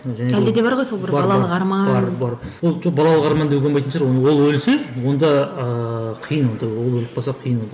ол жоқ балалық арман деуге болмайтын шығар оны ол өлсе онда ыыы қиын онда ол өліп қалса қиын онда